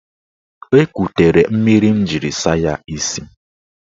O ekutere mmiri m jiri saa ya isi.